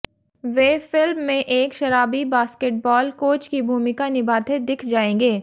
वे film में एक शराबी बॉस्केटबॉल कोच की भूमिका निभाते दिख जाएंगे